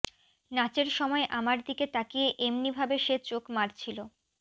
নাচের সময় আমার দিকে তাকিয়ে এমনিভাবে সে চোখ মারছিল